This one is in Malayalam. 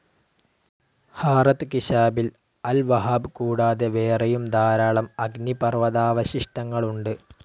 ഹാറത്ത് കിഷാബിൽ അൽ വഹാബ് കൂടാതെ വേറെയും ധാരാളം അഗ്നിപർവ്വതാവശിഷ്ടങ്ങളുണ്ട്.